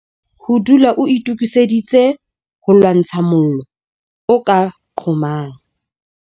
Ho dula o itokiseditse ho lwantsha mollo o ka qhomang